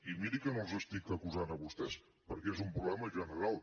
i miri que no els estic acusant a vostès perquè és un problema general